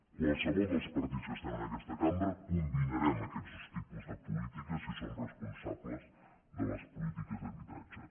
qualsevol dels partits que estem en aquesta cambra combinarem aquests dos tipus de polítiques si som responsables de les polítiques d’habitatge